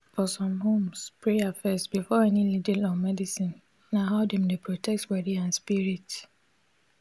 for some homes prayer first before any needle or medicine na how dem dey protect body and spirit.